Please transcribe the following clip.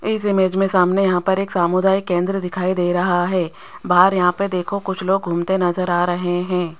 इस इमेज मे सामने यहां पर एक सामुदायिक केंद्र दिखाई दे रहा है बाहर यहां पे देखो कुछ लोग घूमते नजर आ रहे है।